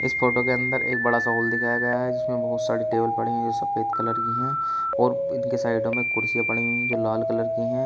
इस फोटो के अंदर एक बड़ा सा हॉल दिखाया गया है जिसमें बहुत सारी टेबल पड़ी हैं जो सफेद कलर की हैं और इनके साइडों में कुर्सियां पड़ी हुई हैं जो लाल कलर की हैं।